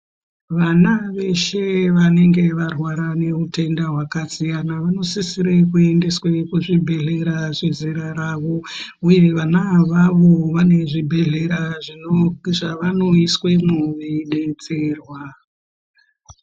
Vana veshe vanenge varwara neutenda hwakasiyana, vanosisire kuendeswa kuzvibhedhlera zvezera ravo, uye vana avavo vane zvibhedhlera zvavanoyiswemwo veyidetserwa.